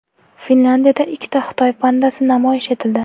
Finlyandiyada ikkita Xitoy pandasi namoyish etildi .